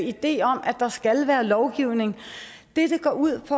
idé om at der skal være lovgivning det det går ud